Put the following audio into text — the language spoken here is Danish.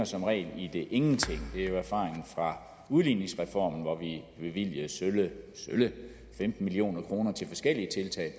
som regel ender i ingenting det er jo erfaringen fra udligningsreformen hvor vi bevilgede sølle femten million kroner til forskellige tiltag